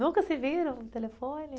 Nunca se viram no telefone?